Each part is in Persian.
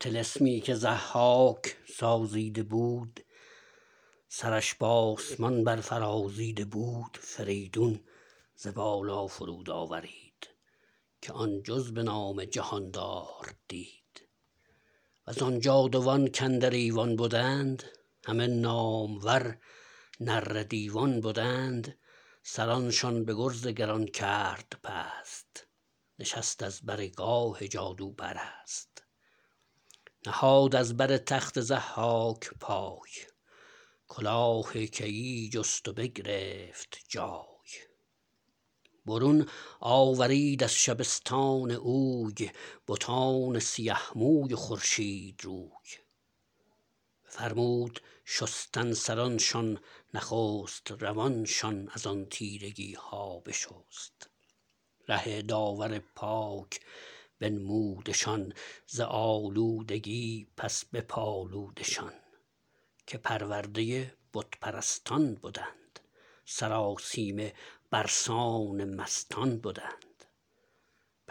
طلسمی که ضحاک سازیده بود سرش به آسمان بر فرازیده بود فریدون ز بالا فرود آورید که آن جز به نام جهاندار دید و زآن جادوان کاندر ایوان بدند همه نامور نره دیوان بدند سرانشان به گرز گران کرد پست نشست از بر گاه جادوپرست نهاد از بر تخت ضحاک پای کلاه کیی جست و بگرفت جای برون آورید از شبستان اوی بتان سیه موی و خورشید روی بفرمود شستن سرانشان نخست روانشان از آن تیرگی ها بشست ره داور پاک بنمودشان ز آلودگی پس بپالودشان که پرورده بت پرستان بدند سرآسیمه بر سان مستان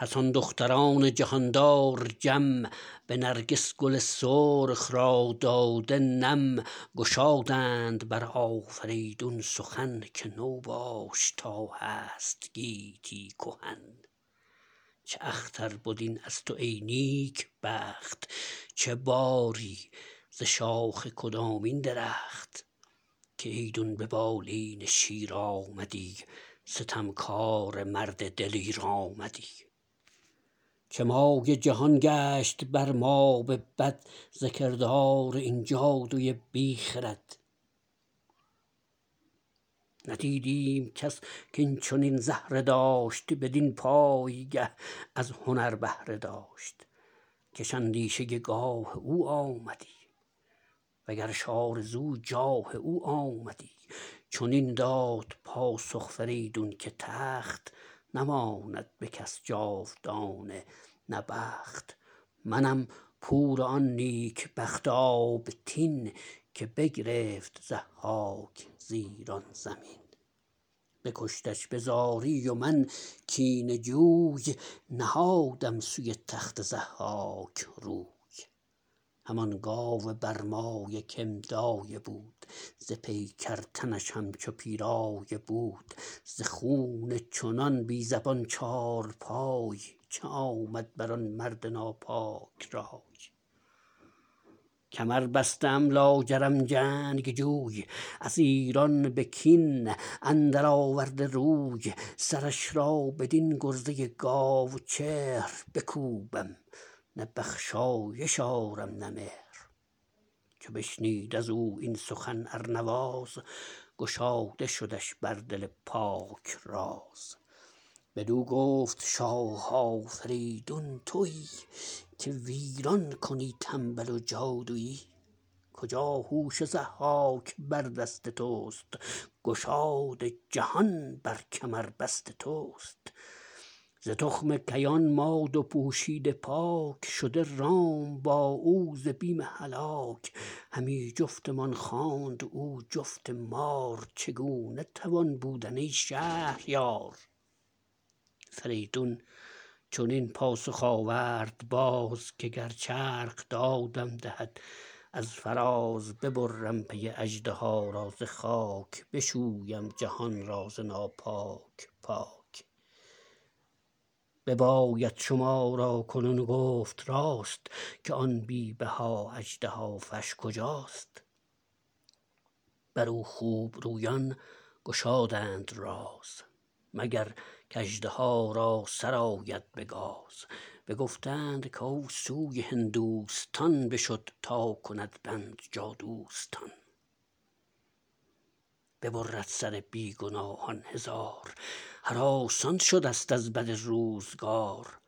بدند پس آن دختران جهاندار جم به نرگس گل سرخ را داده نم گشادند بر آفریدون سخن که تو باش تا هست گیتی کهن چه اختر بد این از تو ای نیک بخت چه باری ز شاخ کدامین درخت که ایدون به بالین شیر آمدی ستمکاره مرد دلیر آمدی چه مایه جهان گشت بر ما به بد ز کردار این جادوی بی خرد ندیدیم کس کاین چنین زهره داشت بدین پایگه از هنر بهره داشت کش اندیشه گاه او آمدی و گرش آرزو جاه او آمدی چنین داد پاسخ فریدون که تخت نماند به کس جاودانه نه بخت منم پور آن نیک بخت آبتین که بگرفت ضحاک ز ایران زمین بکشتش به زاری و من کینه جوی نهادم سوی تخت ضحاک روی همان گاو برمایه که م دایه بود ز پیکر تنش همچو پیرایه بود ز خون چنان بی زبان چارپای چه آمد بر آن مرد ناپاک رای کمر بسته ام لاجرم جنگجوی از ایران به کین اندر آورده روی سرش را بدین گرزه گاو چهر بکوبم نه بخشایش آرم نه مهر چو بشنید از او این سخن ارنواز گشاده شدش بر دل پاک راز بدو گفت شاه آفریدون تویی که ویران کنی تنبل و جادویی کجا هوش ضحاک بر دست تست گشاد جهان بر کمربست تست ز تخم کیان ما دو پوشیده پاک شده رام با او ز بیم هلاک همی جفتمان خواند او جفت مار چگونه توان بودن ای شهریار فریدون چنین پاسخ آورد باز که گر چرخ دادم دهد از فراز ببرم پی اژدها را ز خاک بشویم جهان را ز ناپاک پاک بباید شما را کنون گفت راست که آن بی بها اژدهافش کجاست بر او خوب رویان گشادند راز مگر کاژدها را سر آید به گاز بگفتند کاو سوی هندوستان بشد تا کند بند جادوستان ببرد سر بی گناهان هزار هراسان شده ست از بد روزگار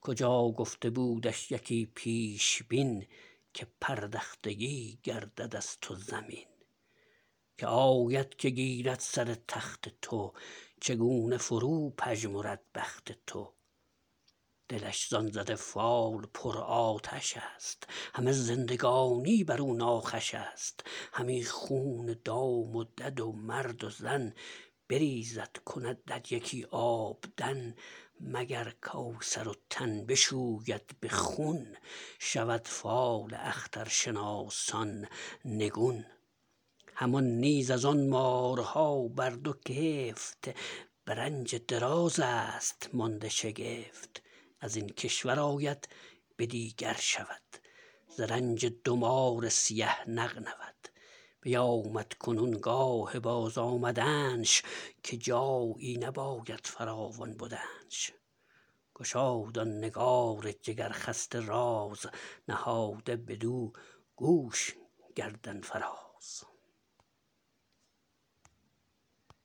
کجا گفته بودش یکی پیشبین که پردختگی گردد از تو زمین که آید که گیرد سر تخت تو چگونه فرو پژمرد بخت تو دلش زآن زده فال پر آتش است همه زندگانی بر او ناخوش است همی خون دام و دد و مرد و زن بریزد کند در یکی آبدن مگر کاو سر و تن بشوید به خون شود فال اخترشناسان نگون همان نیز از آن مارها بر دو کفت به رنج دراز است مانده شگفت از این کشور آید به دیگر شود ز رنج دو مار سیه نغنود بیامد کنون گاه بازآمدنش که جایی نباید فراوان بدنش گشاد آن نگار جگر خسته راز نهاده بدو گوش گردن فراز